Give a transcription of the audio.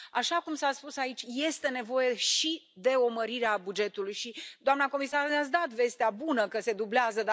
Așa cum s a spus aici, este nevoie și de o mărire a bugetului și, doamnă comisar, ne ați dat vestea bună că se dublează.